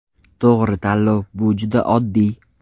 To‘g‘ri tanlov bu juda oddiy!